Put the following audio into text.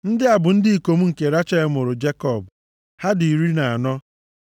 Ndị a bụ ndị ikom nke Rechel mụụrụ Jekọb. Ha dị iri na anọ.